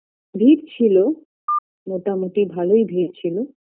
ভিড় ছিলো মোটামুটি ভালোই ভিড় ছিলো